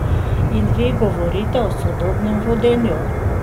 In vi govorite o sodobnem vodenju?